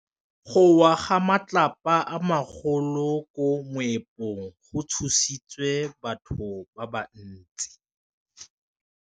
Go wa ga matlapa a magolo ko moepong go tshositse batho ba le bantsi.